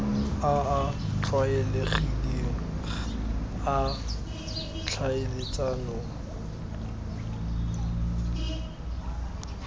a a tlwaelegileng a tlhaeletsano